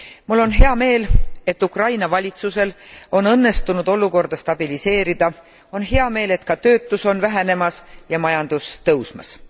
Mul on hea meel, et Ukraina valitsusel on õnnestunud olukorda stabiliseerida. On hea meel, et ka töötus on vähenemas ja majandus tõusmas.